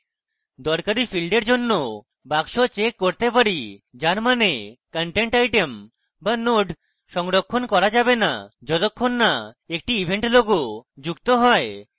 দরকারী field we জন্য box check করতে পারি যার means content item be node সংরক্ষণ করা যাবে না যতক্ষণ না একটি event logo যুক্ত হয়